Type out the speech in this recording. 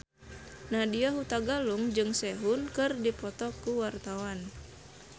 Nadya Hutagalung jeung Sehun keur dipoto ku wartawan